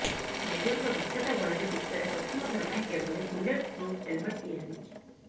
ମେଜରଙ୍କ ଦକ୍ଷତା ବଳରେ ବିଶ୍ୱରେ ପ୍ରଥମଥର ପାଇଁ ଏଭଳି ବୁଲେଟ ଫ୍ରୁପ୍ ହେଲମେଟ ତିଆରି ହୋଇଛି